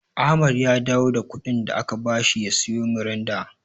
Ahmad ya dawo da kuɗin da aka bashi ya siyo Miranda.